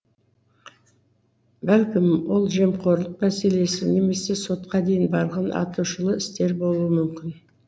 бәлкім ол жемқорлық мәселесі немесе сотқа дейін барған атышулы істер болуы мүмкін